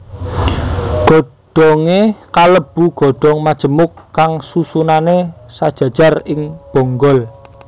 Godhongé kalebu godhong majemuk kang susunané sajajar ing bonggol